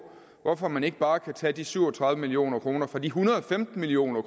hvorfor man ikke bare kan tage de syv og tredive million kroner fra de en hundrede og femten million